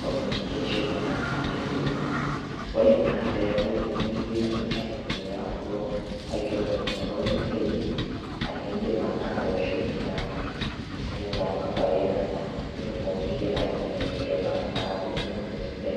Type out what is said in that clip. communication naa e simu. Kore naa pee akuu ididiim aitumia kuloo aing'erokinoto meseji aa idiim ake atooshi naa e simu to nambai enyana nitumokiki aikominiketo amu enia kaata itumome sidai.